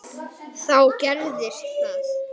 Þá gerðist það.